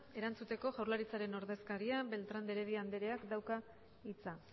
erantzuteko jaurlaritzaren ordezkariak beltrán de heredia andereak dauka hitza